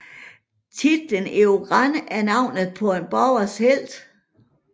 Titlen Eragon er navnet på bogens helt